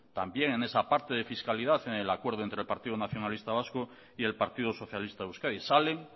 también en esa parte de fiscalidad en el acuerdo entre el partido nacionalista vasco y el partido socialista de euskadi salen